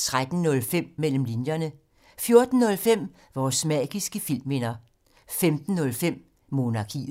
13:05: Mellem linjerne 14:05: Vores magiske filmminder 15:05: Monarkiet